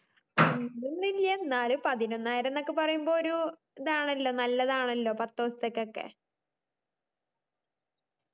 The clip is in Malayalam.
അങ്ങനൊന്നുല്ല എന്നാലും പതിനൊന്നായിരം ന്നൊക്കെ പറയുമ്പോ ഒരു ഇതാണല്ലോ നല്ലതാണല്ലോ പത്തെസത്തൊക്കെ